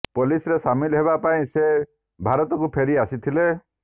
ପୋଲିସରେ ସାମିଲ୍ ହେବା ପାଇଁ ସେ ଭାରତକୁ ଫେରି ଆସିଥିଲେ